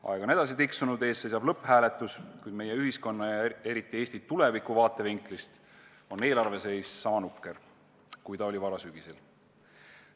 Aeg on edasi tiksunud, ees seisab lõpphääletus, kuid meie ühiskonna ja eriti Eesti tuleviku vaatevinklist on eelarve seis niisama nukker, kui see oli varasügisel.